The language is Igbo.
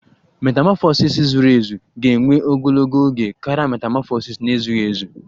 Metamọfọsis zuru ezu ga-ewe ogologo oge karịa metamọfọsis na-ezughị ezu